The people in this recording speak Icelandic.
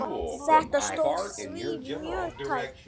Þetta stóð því mjög tæpt.